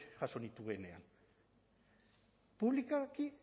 jaso nituenean publikoki